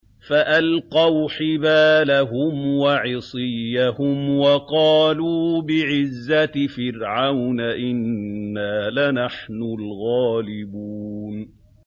فَأَلْقَوْا حِبَالَهُمْ وَعِصِيَّهُمْ وَقَالُوا بِعِزَّةِ فِرْعَوْنَ إِنَّا لَنَحْنُ الْغَالِبُونَ